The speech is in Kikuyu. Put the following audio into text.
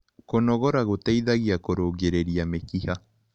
Kũnogora gũteithagia kũrũngĩrĩria mĩkĩha